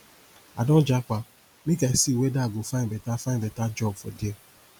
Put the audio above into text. i don japa make i see weda i go find beta find beta job for there